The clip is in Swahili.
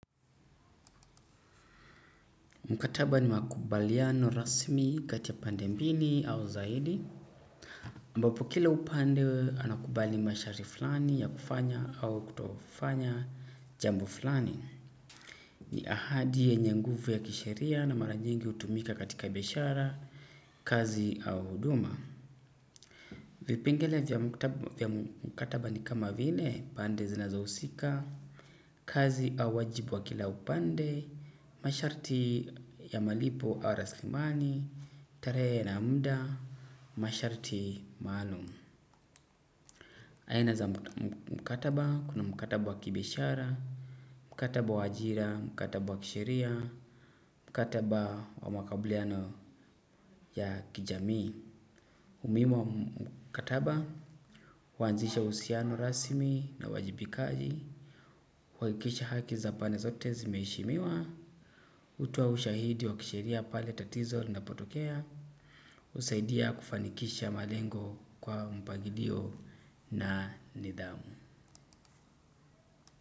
Mkataba ni makubaliano rasmi kati ya pande mbili au zaidi. Ambapo kila upande anakubali masharti fulani ya kufanya au kutofanya jambo fulani. Ni ahadi yenye nguvu ya kisheria na mara nyingi hutumika katika biashara, kazi au huduma. Vipingele vya mkataba ni kama vile, pande zinazohusika. Kazi au wajibu wa kila upande. Masharti ya malipo awa raslimani. Tarehe na muda masharti maalum. Aina za mkataba kuna mkataba wa kibiashara. Mkataba wa ajira, mkataba wa kisheria. Mkataba wa makabuliano ya kijamii umuhimu wa mkataba huanzisha uhusiano rasmi na uwajibikaji kuhakikisha haki za pande zote zimeheshimiwa. Utoa ushahidi wa kisheria pale tatizo na linapotokea husaidia kufanikisha malengo kwa mpangilio na nidhamu.